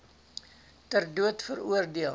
ter dood veroordeel